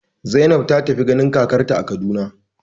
Zainab ta tafi ganin kakarta a Kaduna.